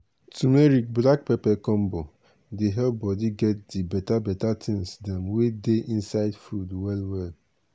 turmeric black pepper combo dey help body dey get di beta beta thing dem wey dey inside food well well.